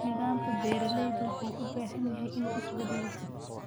Nidaamka beeralayda wuxuu u baahan yahay inuu isbedelo.